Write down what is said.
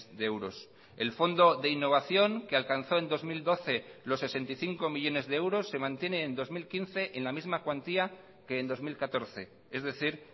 de euros el fondo de innovación que alcanzó en dos mil doce los sesenta y cinco millónes de euros se mantiene en dos mil quince en la misma cuantía que en dos mil catorce es decir